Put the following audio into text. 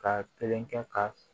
Ka kelen kɛ k'a